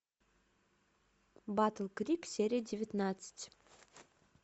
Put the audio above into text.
батл крик серия девятнадцать